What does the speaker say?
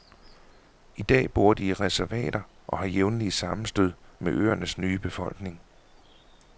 I dag bor de i reservater og har jævnlige sammenstød med øernes nye befolkning.